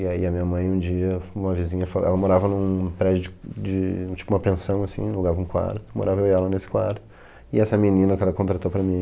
E aí a minha mãe, um dia, uma vizinha foi lá, ela morava num prédio de de, tipo, uma pensão, assim, alugava um quarto, morava eu e ela nesse quarto, e essa menina que ela contratou para mim...